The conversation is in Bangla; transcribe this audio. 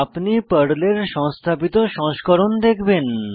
আপনি পর্লের সংস্থাপিত সংস্করণ দেখবেন